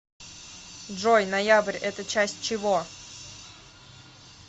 джой ноябрь это часть чего